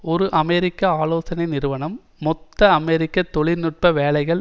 ஒரு அமெரிக்க ஆலோசனை நிறுவனம் மொத்த அமெரிக்க தொழில் நுட்ப வேலைகள்